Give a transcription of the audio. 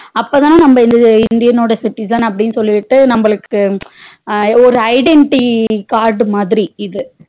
அப்பதா நம்ம இந்த indian ஓட citizen அப்டினு சொல்லிட்டு நம்மளுக்கு ஒரு identity card மாதிரி இது